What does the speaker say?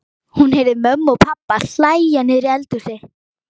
Hún heyrði mömmu og pabba hlæja niðri í eldhúsi.